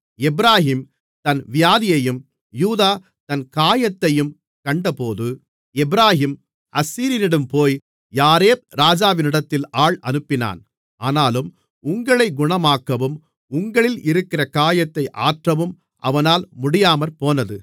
எப்பிராயீம் தன் வியாதியையும் யூதா தன் காயத்தையும் கண்டபோது எப்பிராயீம் அசீரியனிடம் போய் யாரேப் ராஜாவினிடத்தில் ஆள் அனுப்பினான் ஆனாலும் உங்களைக் குணமாக்கவும் உங்களில் இருக்கிற காயத்தை ஆற்றவும் அவனால் முடியாமற்போனது